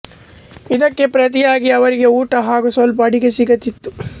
ಇದಕ್ಕೆ ಪ್ರತಿಯಾಗಿ ಅವರಿಗೆ ಊಟ ಹಾಗು ಸ್ವಲ್ಪ ಅಡಿಕೆ ಸಿಗುತ್ತಿತ್ತು